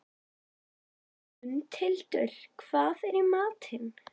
Mundhildur, hvað er í matinn?